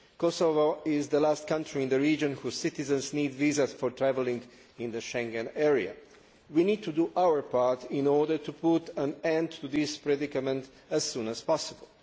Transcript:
Kosovo is the last country in the region whose citizens need visas for travelling in the Schengen area. We need to do our part in order to put an end to this predicament as soon as possible.